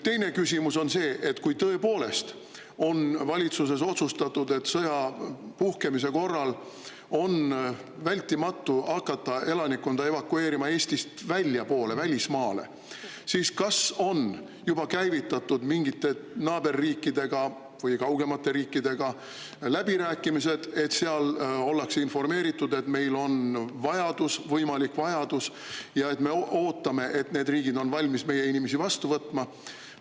Teine küsimus on see, et kui tõepoolest on valitsuses otsustatud, et sõja puhkemise korral on vältimatu hakata elanikkonda evakueerima Eestist väljapoole, välismaale, siis kas on juba käivitatud mingite naaberriikidega või kaugemate riikidega läbirääkimised, et seal oldaks informeeritud, et meil on selline võimalik vajadus ja me ootame, et need riigid oleks valmis meie inimesi vastu võtma.